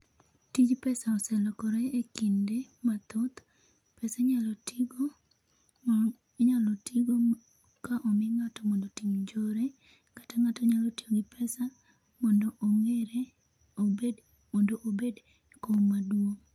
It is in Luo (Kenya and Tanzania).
Tij pesa oselokore ekinde mathoth pesa inyalo tigo inyalo tigo ka omi ng'ato otim njore kata ng'ato nyalo tiyo gi pesa mondo omire obed mondo obed e kom maduong'.